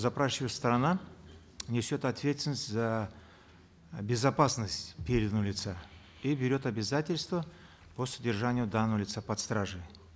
запрашивающая сторона несет ответственность за безопасность переданного лица и берет обязательства по содержанию данного лица под стражей